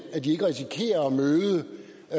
ikke risikerer at møde